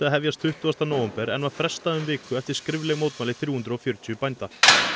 hefjast tuttugasta nóvember en var frestað um viku eftir skrifleg mótmæli þrjú hundruð og fjörutíu bænda